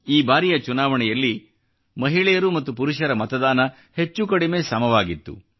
ಈ ಬಾರಿಯ ಚುನಾವಣೆಯಲ್ಲಿ ಮಹಿಳೆಯರು ಮತ್ತು ಪುರುಷರ ಮತದಾನ ಹೆಚ್ಚು ಕಡಿಮೆ ಸಮವಾಗಿತ್ತು